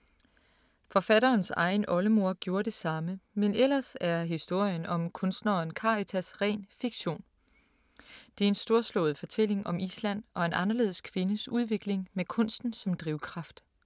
Forfatterens egen oldemor gjorde det samme, men ellers er historien om kunstneren Karitas ren fiktion. Det er en storslået fortælling om Island og en anderledes kvindes udvikling med kunsten som drivkraft.